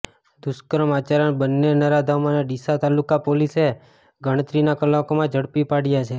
દુષ્કર્મ આચરનાર બન્ને નરાધમોને ડીસા તાલુકા પોલીસે ગણતરીના કલાકોમાં જ ઝડપી પાડ્યા છે